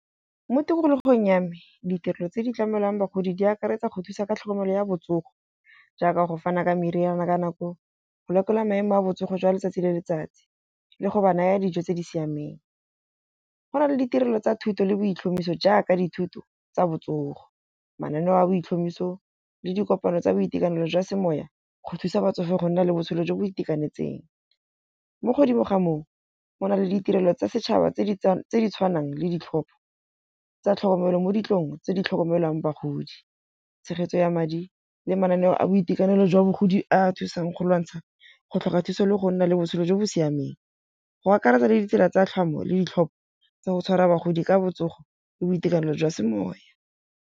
Mo tikologong ya me ditlotlo tse di tlamelwang bagodi di akaretsa go thusa ka tlhokomelo ya botsogo. Jaaka go fana ka meriana ka nako, go lekola maemo a botsogo jwa letsatsi le letsatsi, le go ba naya dijo tse di siameng. Go na le ditirelo tsa thuto le boitlhomiso jaaka dithuto tsa botsogo. Mananeo a boitlhomiso le dikopano tsa boitekanelo jwa semoya go thusa batsofe go nna le botshelo jo bo itekanetseng. Mo godimo ga moo go na le ditirelo tsa setšhaba tse di tse di tshwanang le ditlhopho tsa tlhokomelo, mo ditlong tse di tlhokomelang bagodi, tshegetso ya madi le mananeo a boitekanelo jwa bogodi a thusang go lwantsha go tlhoka thuso le go nna le botshelo jo bo siameng. Go akaretsa le ditsela tsa tlhomo le ditlhopha tsa go tshwara bagodi ka botsogo le boitekanelo jwa semoya.